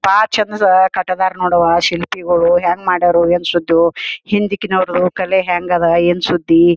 ಕಟ್ಟದರ ನೋಡ್ ಶಿಲ್ಪಿಗಳು ಹೆಂಗ್ ಮಾಡ್ಯಾರು ಏನ್ ಶುದ್ದು ಹಿಂದಿಕ್ ನವರು ಕಲೆ ಹೇಂಗ್ ಅದ ಏನ್ ಶುದ್ದಿ .